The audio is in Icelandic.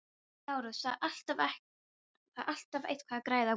LÁRUS: Það er alltaf eitthvað að græða á Grími.